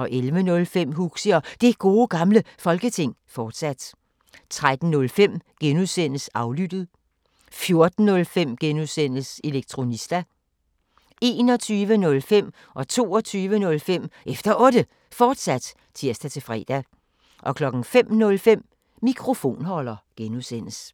11:05: Huxi og Det Gode Gamle Folketing, fortsat 13:05: Aflyttet G) 14:05: Elektronista (G) 21:05: Efter Otte, fortsat (tir-fre) 22:05: Efter Otte, fortsat (tir-fre) 05:05: Mikrofonholder (G)